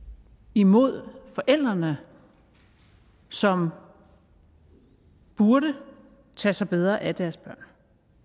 imod forældrene som burde tage sig bedre af deres børn